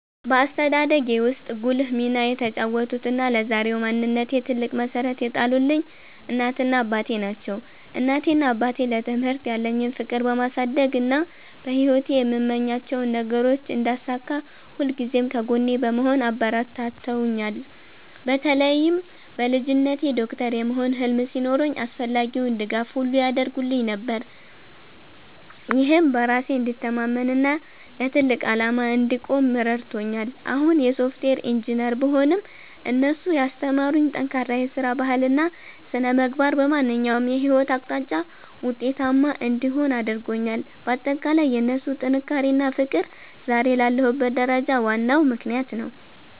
በአስተዳደጌ ውስጥ ጉልህ ሚና የተጫወቱትና ለዛሬው ማንነቴ ትልቅ መሠረት የጣሉልኝ እናቴና አባቴ ናቸው። እናቴና አባቴ ለትምህርት ያለኝን ፍቅር በማሳደግና በሕይወቴ የምመኛቸውን ነገሮች እንዳሳካ ሁልጊዜም ከጎኔ በመሆን አበረታትተውኛል። በተለይም በልጅነቴ ዶክተር የመሆን ህልም ሲኖረኝ አስፈላጊውን ድጋፍ ሁሉ ያደርጉልኝ ነበር፤ ይህም በራሴ እንድተማመንና ለትልቅ ዓላማ እንድቆም ረድቶኛል። አሁን የሶፍትዌር ኢንጂነር ብሆንም፣ እነሱ ያስተማሩኝ ጠንካራ የሥራ ባህልና ሥነ-ምግባር በማንኛውም የሕይወት አቅጣጫ ውጤታማ እንድሆን አድርጎኛል። ባጠቃላይ የእነሱ ጥንካሬና ፍቅር ዛሬ ላለሁበት ደረጃ ዋናው ምክንያት ነው።